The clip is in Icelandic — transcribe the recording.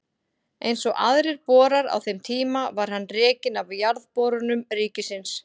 Eins og aðrir borar á þeim tíma var hann rekinn af Jarðborunum ríkisins.